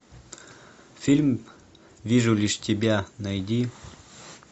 фильм вижу лишь тебя найди